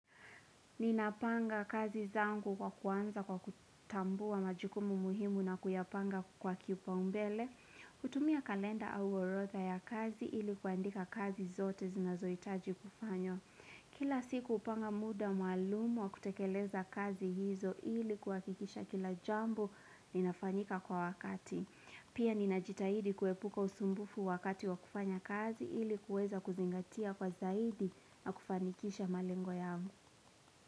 Ninapanga kazi zangu kwa kuanza kwa kutambua majukumu muhimu na kuyapanga kwa kipaumbele. Kutumia kalenda au orotha ya kazi ili kuandika kazi zote zinazohitaji kufanywa Kila siku hupanga muda maalum wa kutekeleza kazi hizo ili kuhakikisha kila jambo ninafanyika kwa wakati. Pia ninajitahidi kuepuka usumbufu wakati wa kufanya kazi ili kuweza kuzingatia kwa zaidi na kufanikisha malengo yangu.